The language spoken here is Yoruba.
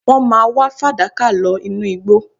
Wọ́n máa wá fàdákà lọ inú igbó